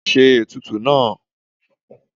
ṣe etùtù náá!